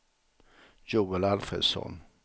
Joel Alfredsson